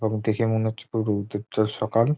এখন দেখে মনে হচ্ছে পূর্ব দিকটা সকাল।